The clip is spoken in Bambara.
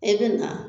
E bɛ na